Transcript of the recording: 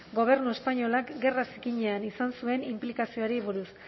gobernu espainolak gerra zikinean izan zuen inplikazioari buruz